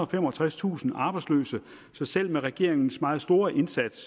og femogtredstusind arbejdsløse så selv med regeringens meget store indsats